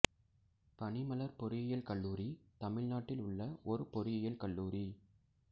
பனிமலர் பொறியியல் கல்லூரி தமிழ்நாட்டில் உள்ள ஒரு பொறியியல் கல்லூரி